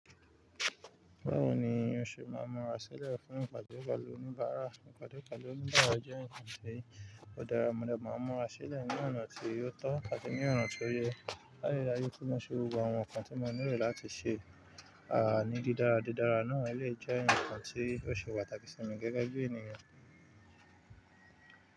Báwo ni o ṣe máa mura sílẹ̀ fún ìpàdé pẹlu oníbàárà? Ìpàdé ìkàlẹ̀ oníbàárà jẹ́ ǹkan tí ó dára, mo ní ẹ máa mura sílẹ̀ ní ọ̀nà tí o tọ́ àti ní ọ̀nà tí ó yẹ. Láì dáyí, kí n mọ ṣe gbogbo àwọn ǹkan tí mo nílò láti ṣe, àh ni didara didara náà lè jẹ́ ǹkan tí yóò ṣe pàtàkì sí mi gẹ́gẹ́ bí ènìyàn.